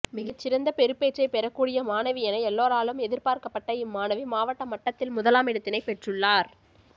மிகச்சிறந்த பெறுபேற்றை பெறக்கூடிய மாணவி என எல்லோராலும் எதிர்பார்க்கப்பட்ட இம் மாணவி மாவட்ட மட்டத்தில் முதலாமிடத்தினை பெற்றுள்ளார்